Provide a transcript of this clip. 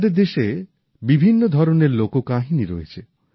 আমাদের দেশে বিভিন্ন ধরণের লোককাহিনী রয়েছে